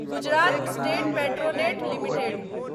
Gujarat state Petronet limited